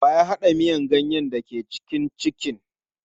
Wa ya haɗa miyan ganyen da ke cikin kicin.